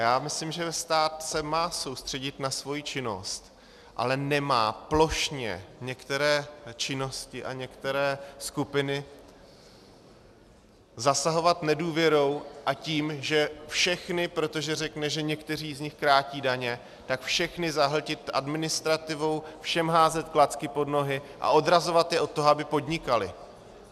Já myslím, že stát se má soustředit na svoji činnost, ale nemá plošně některé činnosti a některé skupiny zasahovat nedůvěrou a tím, že všechny, protože řekne, že někteří z nich krátí daně, tak všechny zahltit administrativou, všem házet klacky pod nohy a odrazovat je od toho, aby podnikali.